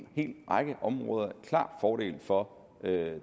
række områder klar fordel for